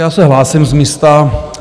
Já se hlásím z místa.